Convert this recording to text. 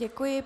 Děkuji.